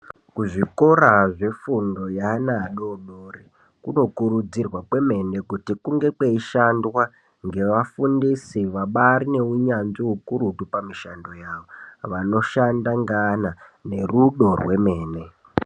Kuzvikora zvefundo yevana vadodori kunokurudzirwa kwemene kuti kunge kweishandwa nevafundisi vabari neunyanzvi ukurutu pamishando yawo vanoshanda neana nerudo rwemene.